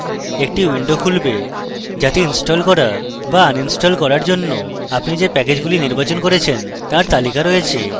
একটি window খুলবে যাতে install করা বা install করার জন্য আপনি যে যে প্যাকেজগুলি নির্বাচন করেছেন তার তালিকা রয়েছে